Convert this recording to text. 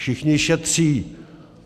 Všichni šetří.